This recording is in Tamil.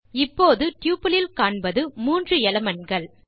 இப்போது டப்பிள் இல் காண்பது 3 எலிமென்ட்ஸ்